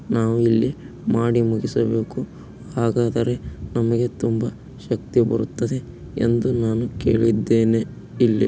ನಾವು ಇಲ್ಲಿ ಮಾಡಿ ಮುಗಿಸಬೇಕು. ಹಾಗಾದರೆ ನಮಗೆ ತುಂಬಾ ಶಕ್ತಿ ಬರುತ್ತದೆ ಎಂದು ನಾನು ಕೇಳಿದ್ದೇನೆ ಇಲ್ಲಿ.